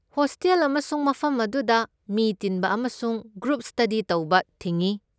Hostel ꯑꯃꯁꯨꯡ ꯃꯐꯝ ꯑꯗꯨꯗ ꯃꯤ ꯇꯤꯟꯕ ꯑꯃꯁꯨꯡ ꯒ꯭ꯔꯨꯞ ꯁ꯭ꯇꯗꯤ ꯇꯧꯕ ꯊꯤꯡꯢ꯫